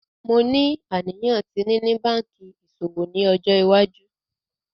Mo ni aniyan ti nini banki iṣowo ni ọjọ iwaju.